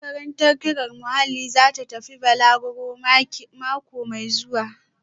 Makarantar ƙirar muhalli za ta tafi balaguro mako mai zuwa